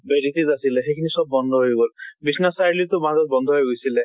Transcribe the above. আছিলে সেই খিনি চব বন্ধ হৈ গল। বিশ্বনাথ চাৰিআলি টো বাৰু বন্ধ হৈ গৈছিলে।